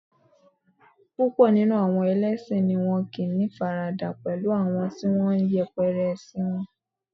púpò nínú àwọn ẹlẹsin ni won ko ni ifarada pẹlú àwọn ti won n yẹpẹrẹ ẹsin won